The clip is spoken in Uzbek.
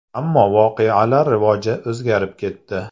Ammo voqealar rivoji o‘zgarib ketdi.